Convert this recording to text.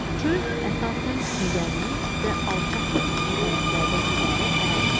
Çöl əsasən düzənlik və alçaq təpəliklərdən ibarət ərazidir.